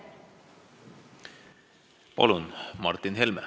Palun, Martin Helme!